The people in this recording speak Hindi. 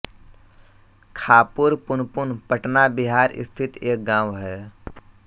खापुर पुनपुन पटना बिहार स्थित एक गाँव है